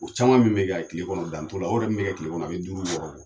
O caman min bɛ ka tile kɔnɔ dan t'o la o yɔrɔ yɛrɛ min bɛ kɛ tile kɔnɔ a bɛ duuru ɲɔgɔn bɔ